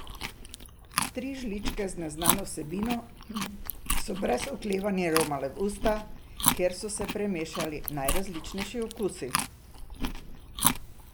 Tri žličke z neznano vsebino so brez oklevanja romale v usta, kjer so se premešali najrazličnejši okusi.